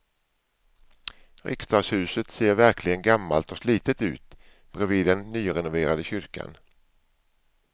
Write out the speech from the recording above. Riksdagshuset ser verkligen gammalt och slitet ut bredvid den nyrenoverade kyrkan.